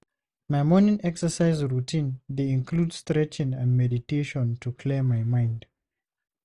My morning exercise routine dey include stretching and meditation to clear my mind.